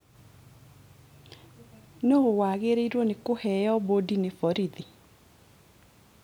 Nũũ wagĩrĩirwo nĩ kũheo bodi nĩ borithi